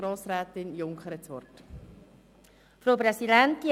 Grossrätin Junker hat das Wort.